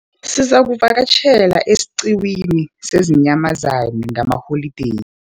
Sizakuvakatjhela esiqhiwini seenyamazana ngalamaholideyi.